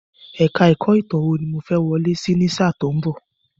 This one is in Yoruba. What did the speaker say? Èka-ẹ̀kọ́ Ìtàn wò ni mo fẹ́ wọlé sí ní sáà tí ó ń bọ̀.